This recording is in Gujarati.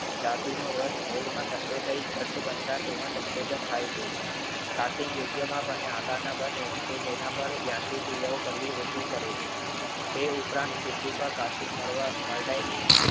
ધાતુ નો રસ મોલ્ડ માં ઠંડો થઈ ઘાટ બનતા તેનો સંકોચન થાય છે. કટિંગ યોગ્ય મેપ અને આકારના બને તો તેના પાર યાંત્રિક કરવી ઓછી પડે છે. એ ઉપરાંત કેટલીક વાર કાર્ટિંગ મર્દાઈ નહિ